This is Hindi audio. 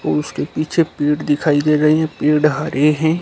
और उसके पीछे पेड़ दिखाई दे रहे हैं पेड़ हरे हैं।